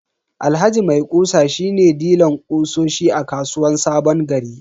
Alhaji maikusa shi ne dilan kutsosi a kasuwan sabongari.